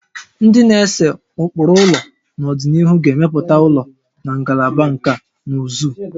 Ndị na-ese ụkpụrụ ụlọ n'ọdịnihu ga-emepụta ụlọ na Ngalaba Nkà na ụzụ